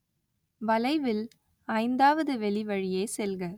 வளைவில், ஐந்தாவது வெளிவழியே செல்க